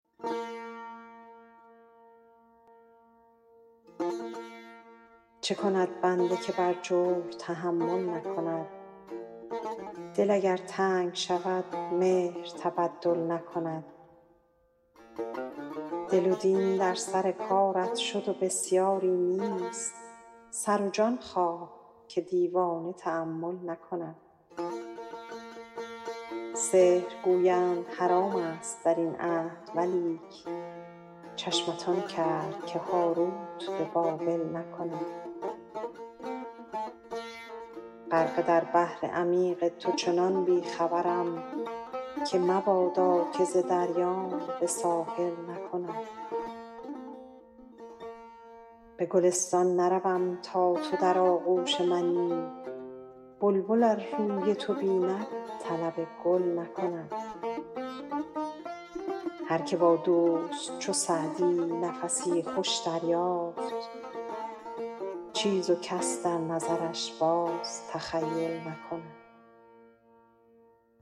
چه کند بنده که بر جور تحمل نکند دل اگر تنگ شود مهر تبدل نکند دل و دین در سر کارت شد و بسیاری نیست سر و جان خواه که دیوانه تأمل نکند سحر گویند حرام ست در این عهد ولیک چشمت آن کرد که هاروت به بابل نکند غرقه در بحر عمیق تو چنان بی خبرم که مبادا که چه دریام به ساحل نکند به گلستان نروم تا تو در آغوش منی بلبل ار روی تو بیند طلب گل نکند هر که با دوست چو سعدی نفسی خوش دریافت چیز و کس در نظرش باز تخیل نکند